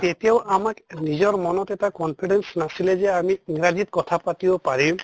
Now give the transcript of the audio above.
তেতিয়াও আমাক নিজৰ মনত এটা confidence নাছিলে যে আমি ইংৰাজীত কথা পাতিব পাৰিম